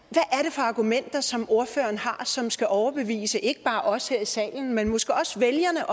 for argumenter som ordføreren har som skal overbevise ikke bare os her i salen men måske også vælgerne